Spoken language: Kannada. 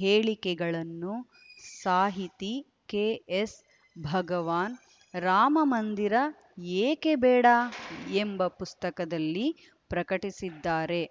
ಹೇಳಿಕೆಗಳನ್ನು ಸಾಹಿತಿ ಕೆಎಸ್‌ಭಗವಾನ್‌ ರಾಮ ಮಂದಿರ ಏಕೆ ಬೇಡ ಎಂಬ ಪುಸ್ತಕದಲ್ಲಿ ಪ್ರಕಟಿಸಿದ್ದಾರೆ